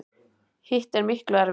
Hitt er miklu erfiðara.